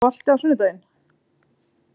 Bruno, er bolti á sunnudaginn?